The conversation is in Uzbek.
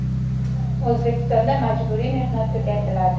O‘zbekistonda majburiy mehnat tugatiladi.